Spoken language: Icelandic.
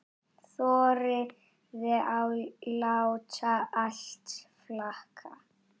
Þorði að láta allt flakka.